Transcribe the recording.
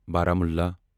بارہ مولہَ